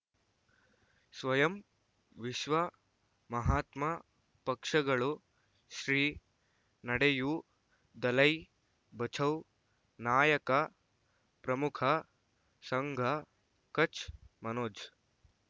ಸ್ವಯಂ ವಿಶ್ವ ಮಹಾತ್ಮ ಪಕ್ಷಗಳು ಶ್ರೀ ನಡೆಯೂ ದಲೈ ಬಚೌ ನಾಯಕ ಪ್ರಮುಖ ಸಂಘ ಕಚ್ ಮನೋಜ್